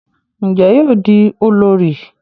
Njé yóò di olórí?